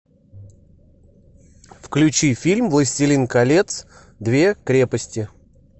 включи фильм властелин колец две крепости